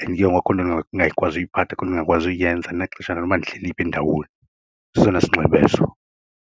and ke ngoku and akho nto ndingayikwaziyo uyiphatha, akhonto ndingayikwazi uyenza andinaxesha noba ndihleli phi, ndawoni sesona sinxibo eso.